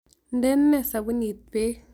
Ndenee sabuniit peek